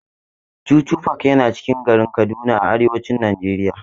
Chuchu park yana cikin garin Kaduna a arewacin Najeriya.